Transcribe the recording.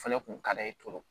O fɛnɛ kun ka d'a ye